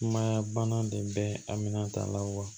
Sumaya bana de bɛ a minɛn ta la wa